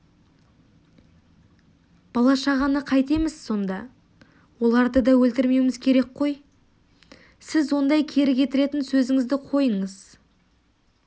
бала-шағаны қайтеміз сонда оларды да өлтірмеуіміз керек қой сіз ондай кері кетіретін сөзіңізді қойыңыз